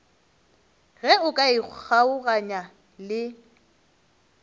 ge o ka ikgaoganya le